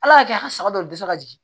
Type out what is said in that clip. Ala ka kɛ an ka saga dɔw dusu ka jigin